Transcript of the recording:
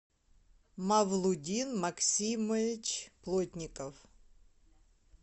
мавлудин максимович плотников